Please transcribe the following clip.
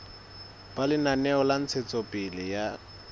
ba lenaneo la ntshetsopele ya